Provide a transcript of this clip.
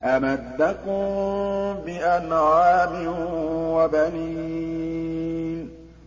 أَمَدَّكُم بِأَنْعَامٍ وَبَنِينَ